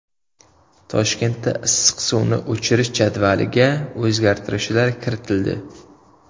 Toshkentda issiq suvni o‘chirish jadvaliga o‘zgartirishlar kiritildi.